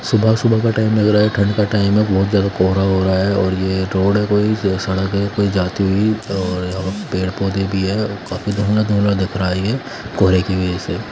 सुबह-सुबह का टाइम लग रहा है ठंड का टाइम है बहुत ज़्यादा कोहरा हो रहा है और ये रोड है कोई सड़क है कोई जाती हुई और यहाँ पेड़ पौधे भी हैं काफी धुंधला-धुंधला दिख रहा है ये कोहरे की वजह से।